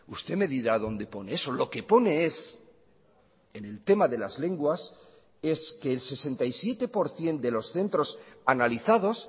usted me dirá dónde pone eso lo que pone es en el tema de las lenguas es que el sesenta y siete por ciento de los centros analizados